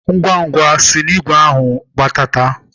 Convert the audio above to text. Ngwa-ngwa si na igwe ahụ gbadata!